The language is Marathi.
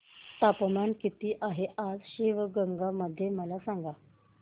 तापमान किती आहे आज शिवगंगा मध्ये मला सांगा